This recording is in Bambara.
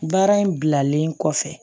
Baara in bilalen kɔfɛ